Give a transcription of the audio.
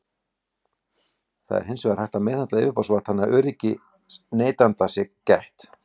Það er hins vegar hægt að meðhöndla yfirborðsvatn þannig að öryggis neytenda sé gætt.